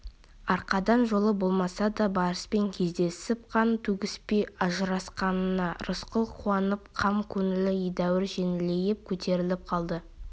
арқардан жолы болмаса да барыспен кездесіп қан төгіспей ажырасқанына рысқұл қуанып қам көңілі едәуір жеңілейіп көтеріліп қалды